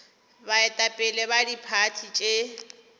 baetapele ba diphathi tše di